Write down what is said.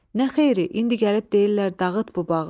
Nə xeyri, indi gəlib deyirlər dağıt bu bağı.